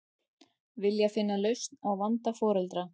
Vilja finna lausn á vanda foreldra